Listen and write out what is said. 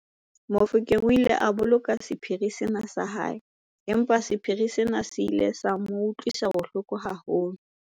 Mofokeng o ile a boloka sephiri sena sa hae empa sephiri sena se ile sa mo utlwisa bohloko haholo.